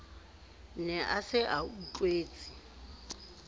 ne a se a utlwetse